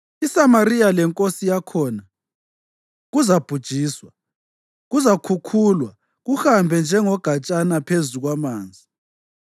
ISamariya lenkosi yakhona kuzabhujiswa kuzakhukhulwa kuhambe njengogatshanyana phezu kwamanzi.